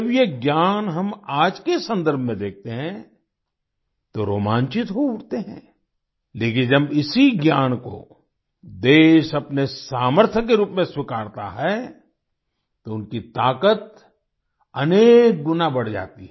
जब ये ज्ञान हम आज के सन्दर्भ में देखते हैं तो रोमांचित हो उठते हैं लेकिन जब इसी ज्ञान को देश अपने सामर्थ्य के रूप में स्वीकारता है तो उनकी ताकत अनेक गुना बढ़ जाती है